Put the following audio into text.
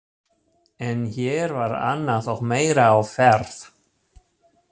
En hér var annað og meira á ferð.